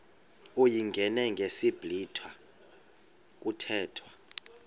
uyingene ngesiblwitha kuthethwa